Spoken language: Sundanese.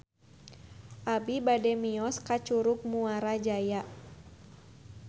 Abi bade mios ka Curug Muara Jaya